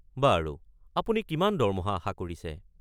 বাৰু, আপুনি কিমান দৰমহা আশা কৰিছে?